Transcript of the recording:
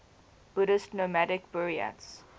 buddhist nomadic buryats